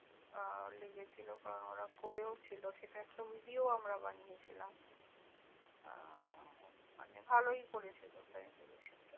আহ লেগেছিল কারণ ওরা করেও ছিলো সেটা একটা video ও আমরা বানিয়ে ছিলাম। আহ মানে ভালোও করেছিল sanitization টা